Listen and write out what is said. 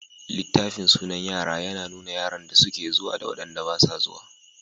Littafin sunan yara yana nuna yaran da suke zuwa da waɗanda basu zuwa.